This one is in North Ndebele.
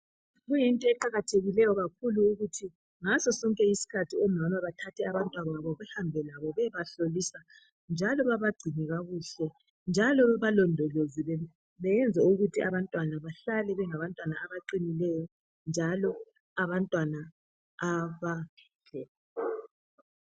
Kuyinto eqakathekileyo kakhulu ukuthi ngaso sonke iskhathi omama bathathe abantwababo behambe labo beyebahlolisa njalo babagcine kakuhle njalo bebalondoloze beyenze ukuthi abantwana bahlale bengabantu abaqinileyo njalo abantwana abadle